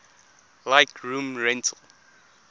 like room rental